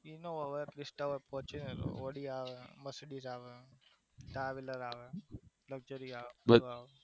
હા હવે બધી જ fortunar આવે Audi આવે Traveler આવે Luxury આવે